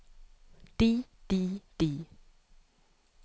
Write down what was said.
de de de